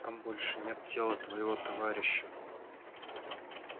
там больше нет тела твоего товарища